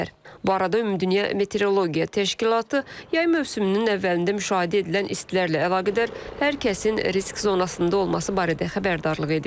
Bu arada Ümumdünya Meteorologiya Təşkilatı yay mövsümünün əvvəlində müşahidə edilən istilərlə əlaqədar hər kəsin risk zonasında olması barədə xəbərdarlıq edib.